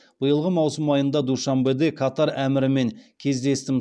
биылғы маусым айында душанбеде катар әмірімен кездестім